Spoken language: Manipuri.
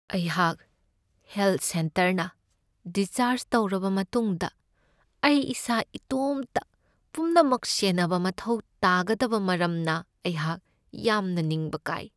ꯑꯩꯍꯥꯛ ꯍꯦꯜꯊ ꯁꯦꯟꯇꯔꯅ ꯗꯤꯁꯆꯥꯔꯖ ꯇꯧꯔꯕ ꯃꯇꯨꯡꯗ ꯑꯩ ꯏꯁꯥ ꯏꯇꯣꯝꯇ ꯄꯨꯝꯅꯃꯛ ꯁꯦꯟꯅꯕ ꯃꯊꯧ ꯇꯥꯒꯗꯕ ꯃꯔꯝꯅ ꯑꯩꯍꯥꯛ ꯌꯥꯝꯅ ꯅꯤꯡꯕ ꯀꯥꯏ꯫